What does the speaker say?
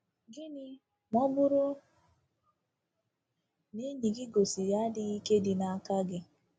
Gịnị ma ọ bụrụ na enyi gị gosiri adịghị ike dị n’aka gị?